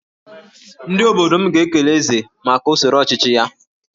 Ndị obodo m ga-ekele Eze maka usoro ọchịchị ya